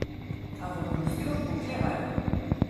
A v Bruslju oklevajo.